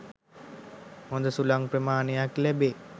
හොඳ සුළං ප්‍රමාණයක් ලැබේ.